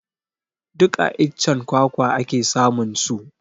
Duk a iccen kwakwa ake samun su